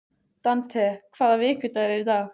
Dante, hvaða vikudagur er í dag?